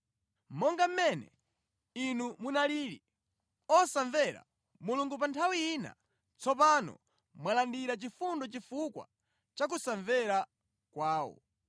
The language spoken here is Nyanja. Monga mmene inu munalili, osamvera Mulungu pa nthawi ina, tsopano mwalandira chifundo chifukwa cha kusamvera kwawo.